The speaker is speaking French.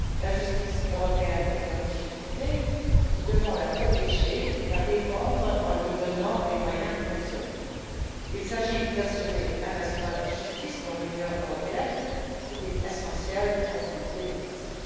La justice européenne est en difficulté, nous devons la protéger et la défendre en lui donnant les moyens de fonctionner. Il s'agit d'assurer un espace de justice dans l'Union européenne, ce qui est essentiel dans une démocratie.